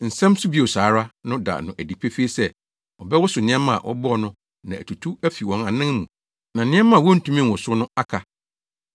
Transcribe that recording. Nsɛm “Nso bio saa ara” no da no adi pefee sɛ ɔbɛwosow nneɛma a wɔbɔɔ no na atutu afi wɔn anan mu na nneɛma a wontumi nwosow no aka.